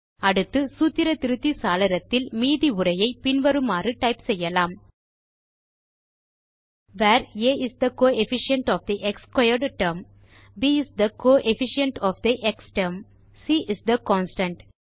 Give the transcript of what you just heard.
அடுத்து சூத்திர திருத்தி சாளரத்தில் மீதி உரையை பின்வருமாறு டைப் செய்யலாம் where a is the coefficient of the x squared term b is the coefficient of the x term c is the constant